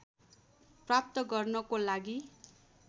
प्राप्त गर्नको लागि